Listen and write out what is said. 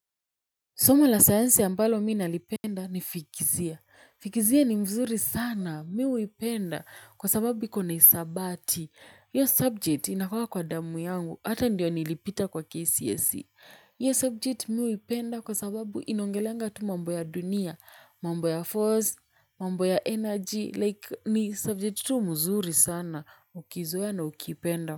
Soma la science ambalo mimi nalipenda ni fizikia. Fizikia ni mzuri sana, mimi huipenda kwa sababu iko na hesabati. Hiyo subject inakuwanga kwa damu yangu, hata ndiyo nilipita kwa KCSE. Hiyo subject mimi huipenda kwa sababu inaongelenga tu mambo ya dunia, mambo ya force, mambo ya energy, like ni subject tu mzuri sana, ukizoea na ukipenda.